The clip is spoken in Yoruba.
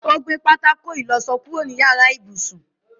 Ó gbé pátákó ìlọsọ kúrò ní yàrá ibùsùn.